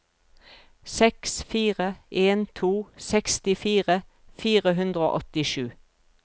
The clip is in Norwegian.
seks fire en to sekstifire fire hundre og åttisju